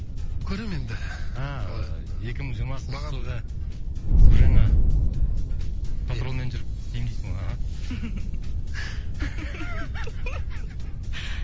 көрем енді ааа екі мың жиырмасыншы жылға су жаңа патронмен жүріп істеймін дейсің ғой аха